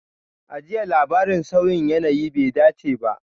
A jiya, labarin sauyin yanayi bai dace ba.